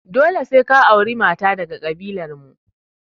Dole sai ka auri mata daga daga ƙabilar mu!